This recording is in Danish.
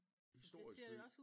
Historist by